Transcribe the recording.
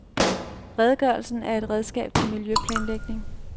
Redegørelsen er et redskab til miljøplanlægning.